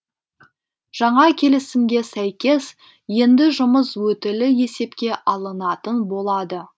жаңа келісімге сәйкес енді жұмыс өтілі есепке алынатын болады